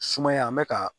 Sumaya an bɛ ka